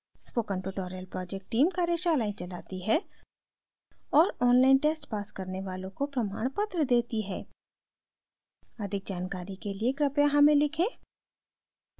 spoken tutorial project team कार्यशालाएं चलाती है और online tests pass करने वालों को प्रमाणपत्र देती है अधिक जानकारी के लिए कृपया हमें लिखें